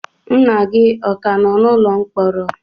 nna gị ọ ka nọ n'ụlọ mkpọrọ?